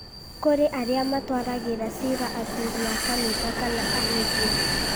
kũrĩ arĩa matwaragĩra cira athuri a kanitha kana ahunjia